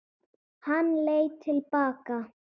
Hann leit til baka.